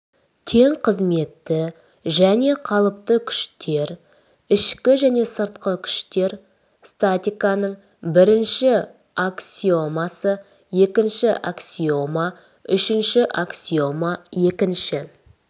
тең қызметті және қалыпты күштер ішкі және сыртқы күштер статиканың бірінші аксиомасы екінші аксиома үшінші аксиома екінші